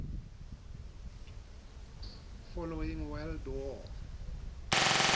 following world war